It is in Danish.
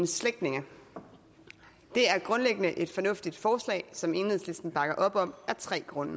slægtninge det er grundlæggende et fornuftigt forslag som enhedslisten bakker op om af tre grunde